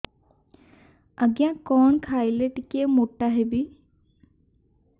ଆଜ୍ଞା କଣ୍ ଖାଇଲେ ଟିକିଏ ମୋଟା ହେବି